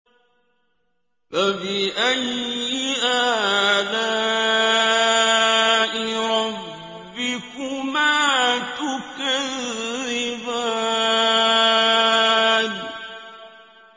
فَبِأَيِّ آلَاءِ رَبِّكُمَا تُكَذِّبَانِ